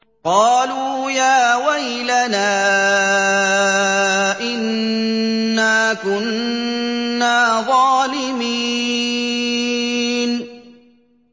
قَالُوا يَا وَيْلَنَا إِنَّا كُنَّا ظَالِمِينَ